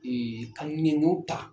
Ee ka nin ko ta